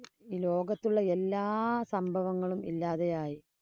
ഈ ലോകത്തുള്ള എല്ലാ സംഭവങ്ങളും ഇല്ലാതെയായി.